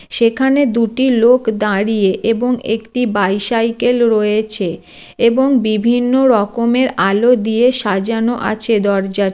সেখানে দুটি লোক দাঁড়িয়ে এবং একটি বাইসাইকেল রয়েছে এবং বিভিন্ন রকমের আলো দিয়ে সাজানো আছে দরজারট--